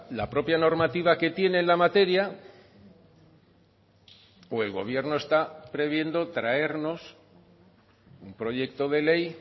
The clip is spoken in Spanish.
la propia normativa que tiene en la materia o el gobierno está previendo traernos un proyecto de ley